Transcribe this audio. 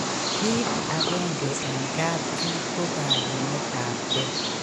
kit akenge eng kap chii ko kagimet ab ke